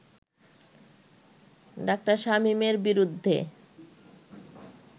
ডা. শামীমের বিরুদ্ধে